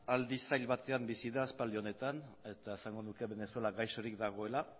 aldi zail batean bizi da aspaldi honetan eta esango nuke venezuela gaixorik dagoela